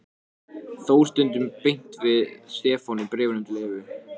Þór stundum beint við Stefán í bréfum til Evu.